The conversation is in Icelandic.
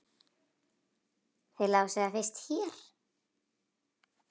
Þið lásuð það fyrst hér!